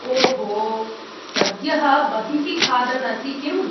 ओहो! सद्यः बहिः खादन्‌ असि किम्‌?